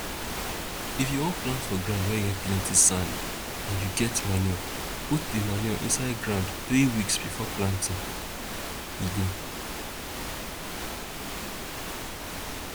if you wan plant for ground wey get plenti sand and you get manure put di manure inside ground 3 weeks before planting e go